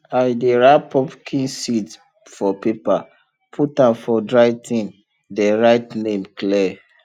i dey wrap pumpkin seed for paper put am for dry tin then write name clear